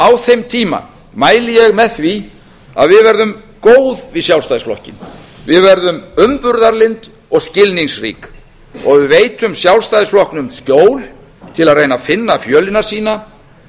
á þeim tíma mæli ég með því að við verðum góð við sjálfstæðisflokkinn við verðum umburðarlynd og skilningsrík og við veitum sjálfstæðisflokknum skjól til að reyna að finna fjölina sína